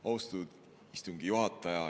Austatud istungi juhataja!